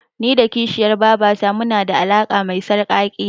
Ni da kishiyar babata munada alaƙa me sarƙaƙiya.